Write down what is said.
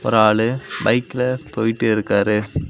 ஒரு ஆளு பைக்ல போயிட்டு இருக்காரு.